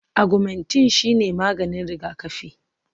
Agwumentin shine maganin rigakafi